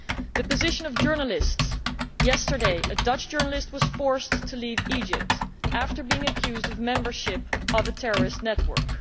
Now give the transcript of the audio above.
The position of journalists yesterday a Dutch journalist was forced to leave Egypt after being accused of membership of a terrorist network.